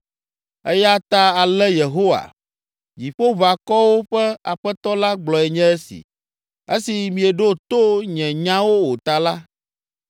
Eya ta ale Yehowa, Dziƒoʋakɔwo ƒe Aƒetɔ la gblɔe nye esi: “Esi mieɖo to nye nyawo o ta la,